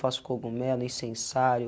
Faço cogumelo, incensário